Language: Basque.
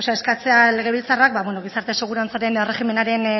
legebiltzarrak gizarte segurantzaren